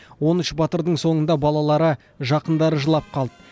он үш батырдың соңында балалары жақындары жылап қалды